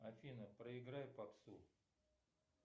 афина проиграй попсу